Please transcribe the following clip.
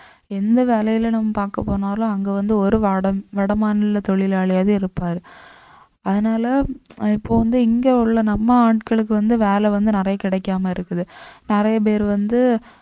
எந்த வேலையில நம்ம பார்க்க போனாலும் அங்க வந்து ஒரு வட~ வடமாநில தொழிலாளியாவே இருப்பாரு அதனால இப்ப வந்து இங்க உள்ள நம்ம ஆட்களுக்கு வந்து வேலை வந்து நிறைய கிடைக்காம இருக்குது நிறைய பேர் வந்து